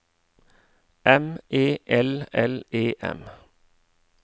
M E L L E M